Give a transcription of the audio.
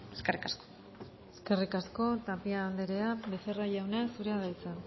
eskerrik asko eskerrik asko tapia andrea becerra jauna zurea da hitza